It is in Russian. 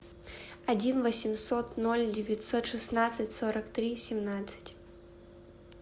один восемьсот ноль девятьсот шестнадцать сорок три семнадцать